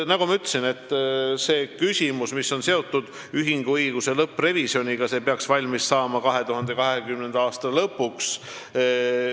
Nagu ma ütlesin, ühinguõiguse lõpprevisjon peaks valmis saama 2020. aasta lõpuks.